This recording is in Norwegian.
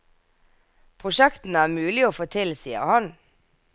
Prosjektene er mulige å få til, sier han.